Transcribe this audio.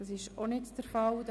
– Das ist auch nicht der Fall.